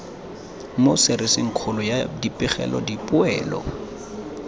mo serisikgolong ya dipegelo dipoelo